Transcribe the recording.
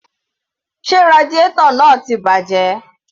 Sé radiator náà ti bàjẹ́?